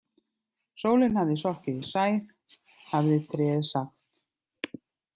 Sólin hafði sokkið í sæ hafði tréið sagt.